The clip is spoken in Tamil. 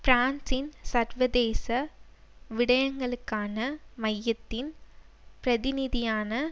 பிரான்சின் சர்வதேச விடயங்களுக்கான மையத்தின் பிரதிநிதியான